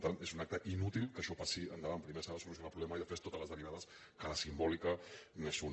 per tant és un acte inútil que això passi endavant primer s’ha de solucionar el problema i després totes les derivades que la simbòlica n’és una